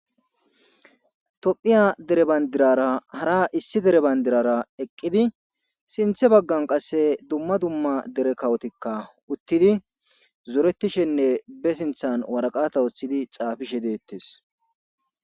tophiya dere bayndirara hara issi dere bandirara eqqidi sinthe baggan qasse dumma dumma dere kawotikka uttidi zoretishenne be sinthan waraqata oththidi xaafishe deettes